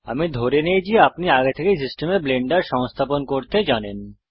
আমি ধরে নেই আপনি আগে থেকেই সিস্টেমে ব্লেন্ডার সংস্থাপন করতে জানেন